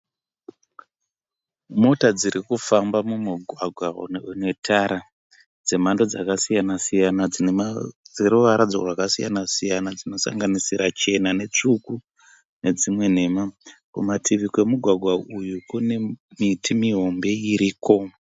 Mota dziri kufamba mumugwagwa une tara dzemhando dzakasiyana siyana dzeruvara rwakasiyana siyana dzinosanganisira chena netsvuku nedzimwe nhema. Kumativi kwemugwagwa uyu kune miti mihombe iriko.